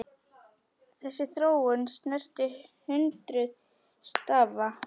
Þessi þróun snerti hundruð starfa.